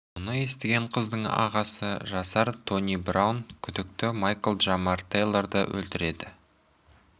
мұны естіген қыздың ағасы жасар тони браун күдікті майкл джамар тэйлорды өлтіреді